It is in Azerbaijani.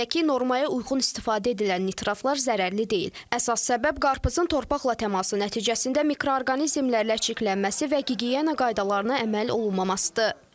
Belə ki, normaya uyğun istifadə edilən nitratlar zərərli deyil, əsas səbəb qarpızın torpaqla təması nəticəsində mikroorqanizmlərlə çirklənməsi və gigiyena qaydalarına əməl olunmamasıdır.